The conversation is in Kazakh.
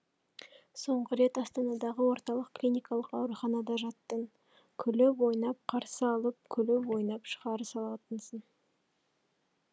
соңғы рет астанадағы орталық клиникалық ауруханада жаттың күліп ойнап қарсы алып күліп ойнап шығарып салатынсың